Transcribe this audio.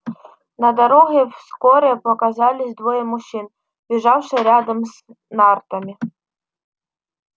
на дороге вскоре показались двое мужчин бежавших рядом с нартами